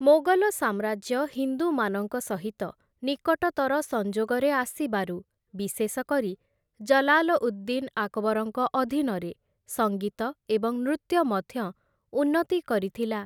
ମୋଗଲ ସାମ୍ରାଜ୍ୟ ହିନ୍ଦୁମାନଙ୍କ ସହିତ ନିକଟତର ସଂଯୋଗରେ ଆସିବାରୁ, ବିଶେଷକରି ଜଲାଲ ଉଦ୍‌-ଦିନ୍‌ ଆକବରଙ୍କ ଅଧୀନରେ, ସଙ୍ଗୀତ ଏବଂ ନୃତ୍ୟ ମଧ୍ୟ ଉନ୍ନତି କରିଥିଲା ।